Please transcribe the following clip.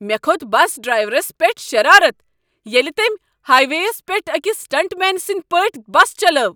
مےٚ کھوٚت bus drivers پٮ۪ٹھ شرارتھ ییٚلہ تٔمۍ ہاے ویٚیس پٮ۪ٹھ أکس سٹنٛٹ مین سٕنٛدۍ پٲٹھۍ بس چلٲو۔